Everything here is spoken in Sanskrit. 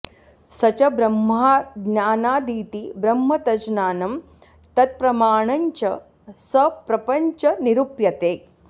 स च ब्रह्माज्ञानादिति ब्रह्म तज्ज्ञानं तत्प्रमाणञ्च सप्रपञ्चं निरूप्यते